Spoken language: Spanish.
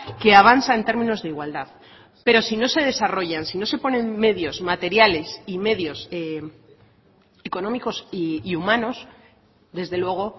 que avanza en términos de igualdad pero si no se desarrollan si no se ponen medios materiales y medios económicos y humanos desde luego